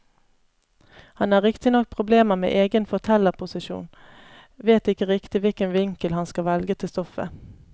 Han har riktignok problemer med egen fortellerposisjon, vet ikke riktig hvilken vinkel han skal velge til stoffet.